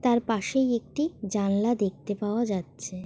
তার পাশেই একটি জানলা দেখতে পাওয়া যাচ্ছে।